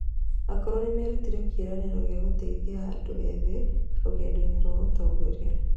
Akũrũ nĩ marutire kĩĩranĩro gĩa gũteithia andũ ethĩ rũgendo-inĩ rwa ũtongoria.